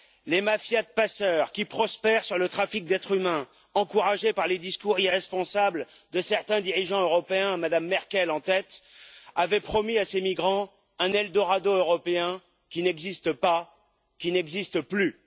Les mafias de passeurs qui prospèrent sur le trafic d'êtres humains, encouragés par les discours irresponsables de certains dirigeants européens, Mme Merkel en tête, avaient promis à ces migrants un Eldorado européen qui n'existe pas, qui n'existe plus!